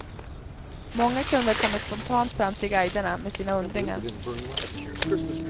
Många kunder kommer spontant fram till guiderna med sina undringar.